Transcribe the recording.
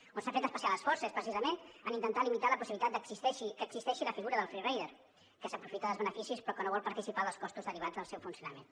on s’ha fet especial esforç és precisament en intentar limitar la possibilitat que existeixi la figura del free rider que s’aprofita dels beneficis però que no vol participar dels costos derivats del seu funcionament